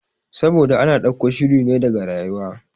Saboda ana ɗauko shirine daga rayuwa